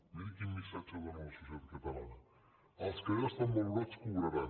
miri quin missatge dóna a la societat catalana els que ja estan valorats cobraran